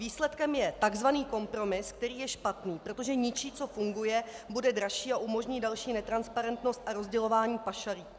Výsledkem je tzv. kompromis, který je špatný, protože ničí, co funguje, bude dražší a umožní další netransparentnost a rozdělování pašalíků.